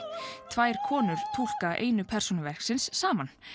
tvær konur túlka einu persónu verksins saman